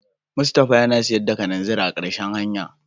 Mustapha yana sayar da kananzir a marshen hanya.